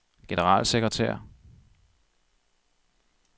generalsekretær